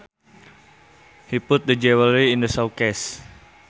He put the jewelry in the showcase